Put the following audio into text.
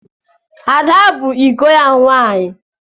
Ada bụ iko ya nwaanyị.